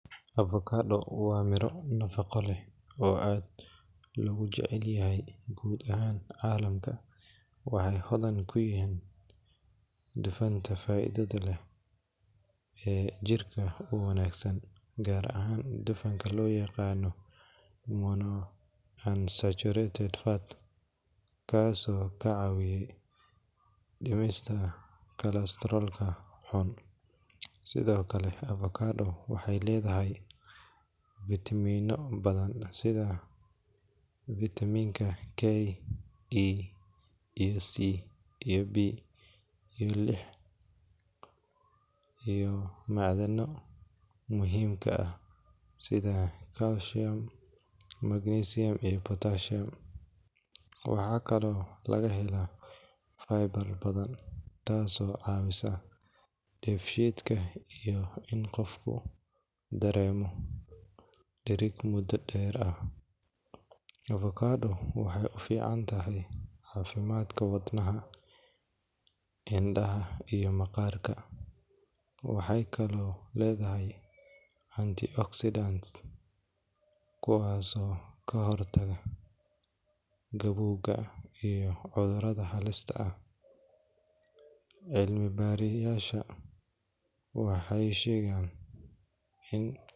Mashiinnada lagu farsameeyo birta loo isticmaalo darbiyada ama xayndaabyada waa qalab muhiim ah oo casri ah, kuwaasoo fududeeya shaqooyin badan oo culus. Mashiinkan wuxuu awood u leeyahay inuu jarjaro, leexiyo, qalloociyo ama sawro biraha si loo helo naqshad qurux badan oo adag. Waxaa lagu isticmaalaa warshado iyo goobaha dhismaha si loo soo saaro biraha laga dhiso xayndaabyo ama darbiyo difaac ah. Waxaa jira noocyo badan oo mashiinnadan ah sida CNC bending machine, iron cutting machine, iyo welding machine. Mid walba wuxuu leeyahay shaqo gaar ah sida goynta birta, samaynta qaab wareegsan ama fidsan, iyo isku xidhka biraha. Mashiinnadaasi waxay adeegsadaan koronto xooggan, waxayna shaqeeyaan si degdeg ah, iyadoo hal mashiin uu qaban karo shaqadii ay dad badan qaban jireen waqti dheer. Inta badan.